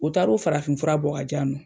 O taar'o farafin fura bɔ k'a di yan nɔ.